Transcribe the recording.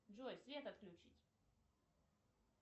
джой свет отключить